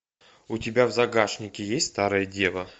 у тебя в загашнике есть старая дева